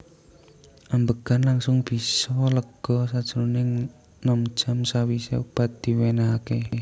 Ambegan langsung bisa lega sajroning nem jam sawise obat diwenehake